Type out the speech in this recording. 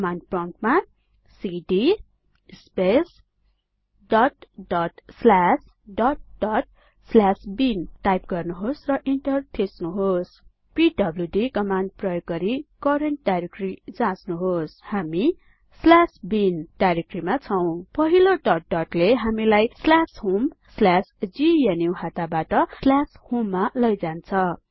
command प्रम्प्टमा C D space dot dot slash dot dot slash bin type गर्नुहोस र enter थिच्नुहोस् पीडब्ल्यूडी कमाण्ड प्रयोग गरि करेन्ट डाइरेक्टरी जाच्नुहोस हामी bin स्ल्यास बिन डाइरेक्टरीमा छौं पहिलो डट डट ले हामीलाई स्ल्याश होम स्ल्याश ग्नुहता बाट स्ल्याश होममा लैजान्छ